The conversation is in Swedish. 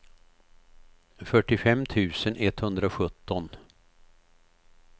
fyrtiofem tusen etthundrasjutton